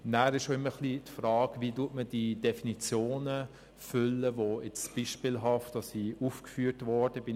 Dann stellt sich immer auch die Frage, wie man die Definitionen füllt, die nun beispielhaft aufgeführt worden sind.